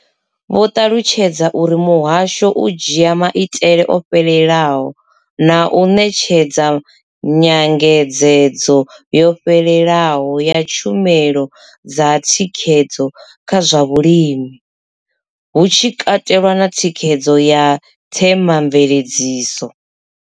Vho ṱalutshedza uri muhasho u dzhia maitele o fhelelaho na u ṋetshedza nyangedzedzo yo fhelelaho ya tshumelo dza thikhedzo kha zwa vhulimi, hu tshi katelwa na thikhedzo ya themamveledziso.